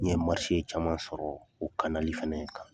N ye caman sɔrɔ o fana kan.